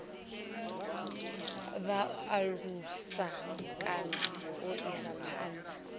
alusa kana u isa phanda